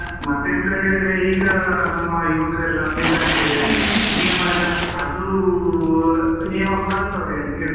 ಮಾತೆಂತ ಹೇಳಿದ್ರೆ ಈಗಾ ನಮ್ ಯುವಕ್ರೆಲ್ಲ ಎಂತಂತ ಹೇಳಿದ್ರೆ ನಿಯಮ ಎಲ್ಲ, ಅದೂ ನಿಯಮ ಪಾಲಿಸುವವ್ರಿಗೆ ಅಂತ ಹೇಳುದು.